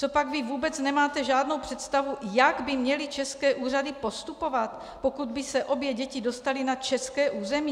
Cožpak vy vůbec nemáte žádnou představu, jak by měly české úřady postupovat, pokud by se obě děti dostaly na české území?